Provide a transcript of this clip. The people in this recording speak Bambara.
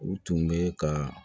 U tun bɛ ka